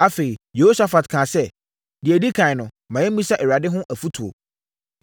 Afei, Yehosafat kaa sɛ, “Deɛ ɛdi ɛkan no, ma yɛmmisa Awurade hɔ afotuo.”